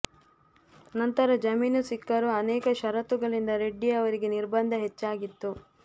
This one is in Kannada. ನಂತರ ಜಾಮೀನು ಸಿಕ್ಕರೂ ಅನೇಕ ಷರತ್ತುಗಳಿಂದ ರೆಡ್ಡಿ ಆವರಿಗೆ ನಿರ್ಬಂಧ ಹೆಚ್ಚಾಗಿತ್ತು